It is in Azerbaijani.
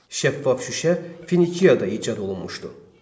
Şəffaf şüşə Finikiyada icad olunmuşdu.